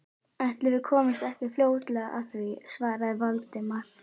Ætli við komumst ekki fljótlega að því- svaraði Valdimar.